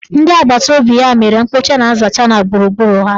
Ndị agbataobi ya mere mkpocha na nzacha na gburugburu ha.